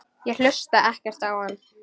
Ég hlusta ekkert á hann.